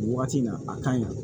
O waati na a ka ɲi